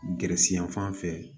Gɛrɛsɛ yan fan fɛ